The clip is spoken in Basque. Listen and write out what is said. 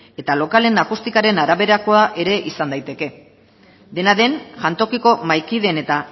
eta lokalen akustikaren araberakoa ere izan daiteke dena den jantokiko mahaikideen eta